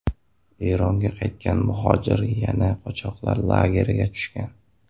Eronga qaytgan muhojir yana qochoqlar lageriga tushgan.